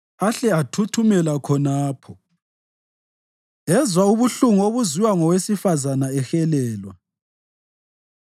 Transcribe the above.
Ahle athuthumela khonapho, ezwa ubuhlungu obuzwiwa ngowesifazane ehelelwa.